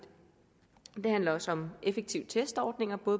handler også om effektive testordninger på